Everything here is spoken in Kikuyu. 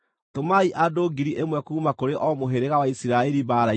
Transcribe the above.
Tũmai andũ 1,000 kuuma kũrĩ o mũhĩrĩga wa Isiraeli mbaara-inĩ.”